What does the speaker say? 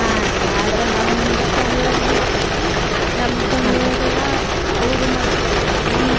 ಹಾ ರೀ ಆದ್ರ ನಮ್ಮ family ಯೊಳಗ ಹೆಂಗ ಆಕ್ಕೇತಿ ರೀ ನಮ್ family ಯೊಳಗೆಲ್ಲಾ ಅವ್ರ್ ಮದ್ಲ ನಮ್